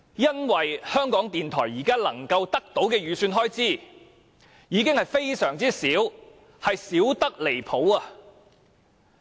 因為港台現時能夠得到的預算開支已經非常少，而且少得離譜。